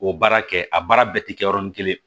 O baara kɛ a baara bɛɛ tɛ kɛ yɔrɔnin kelen